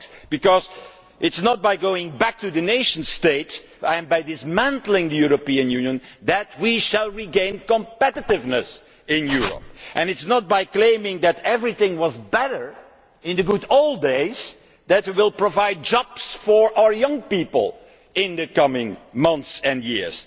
Because it is not by going back to the nation state and by dismantling the European Union that we will regain competitiveness in Europe, and it is not by claiming that everything was better in the good old days that we will provide jobs for our young people in the coming months and years.